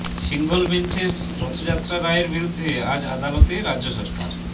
single বেঞ্চের রথযাত্রা রায়ের বিরুদ্ধে আজ আদালতে রাজ্য সরকার